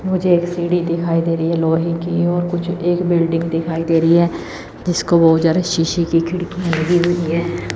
मुझे एक सीढी दिखाई दे रही है लोहे की और कुछ एक बिल्डिंग दिखाई दे रही है जिसको बहुत ज्यादा शीशे की खिड़की लगी हुई है।